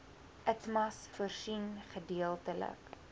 itmas voorsien gedeeltelike